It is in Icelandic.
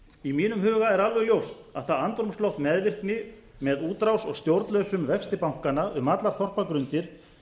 í mínum huga er alveg ljóst að það andrúmsloft meðvirkni með útrás og stjórnlausum vexti bankanna um allar þorpa undir